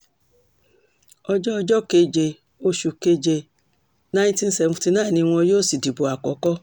ọjọ́ ọjọ́ keje oṣù keje nineteen seventy-nine ni wọn yóò sì dìbò àkókò